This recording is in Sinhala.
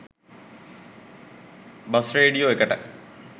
බස් රේඩියෝ එකට.